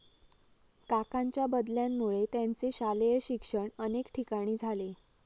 काकांच्या बदल्यांमुळे त्यांचे शालेय शिक्षण अनेक ठिकाणी झाले.